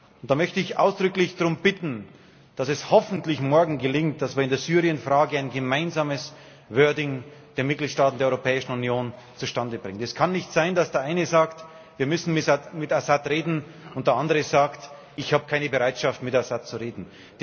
Und da möchte ich ausdrücklich darum bitten, dass es hoffentlich morgen gelingt, dass wir in der Syrien-Frage ein gemeinsames Wording der Mitgliedstaaten der Europäischen Union zustande bringen. Es kann nicht sein, dass der eine sagt Wir müssen mit Assad reden, und der andere sagt Ich habe keine Bereitschaft, mit Assad zu reden.